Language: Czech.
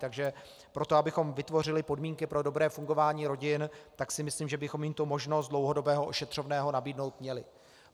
Takže pro to, abychom vytvořili podmínky pro dobré fungování rodin, tak si myslím, že bychom jim tu možnost dlouhodobého ošetřovného nabídnout měli.